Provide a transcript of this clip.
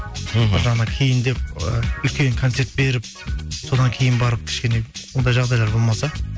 мхм бір жағынан кейін деп і үлкен концерт беріп содан кейін барып кішкене ондай жағдайлар болмаса